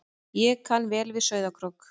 Ég kann vel við Sauðárkrók.